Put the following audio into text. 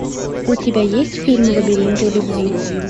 у тебя есть фильм лабиринты любви